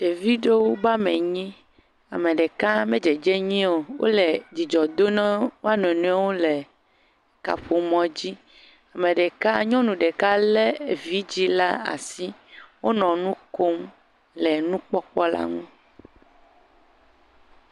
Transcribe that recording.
Ɖevi ɖewo be ame enyi. Ame ɖeka hã me dzedzem nyui o. Wole dzidzɔ dom na wo nɔnɔewo le kaƒo mɔ dzo. Me ɖeka nyɔnu ɖeka le evidzi le asi. Wonɔ nu kom le nu kpɔkpɔ la nu.